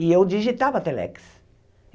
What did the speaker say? E eu digitava Telex.